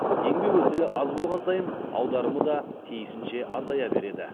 еңбек өтілі аз болған сайын аударым да тиісінше азая береді